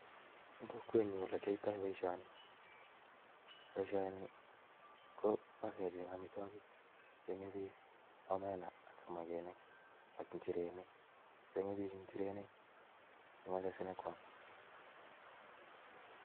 En kokwenyun ole kiyoito boishoni, boishoni kobo kecheng amitwogiik chekikure en omena ak samakinik, change biik inyirenik chebo sinyonkwam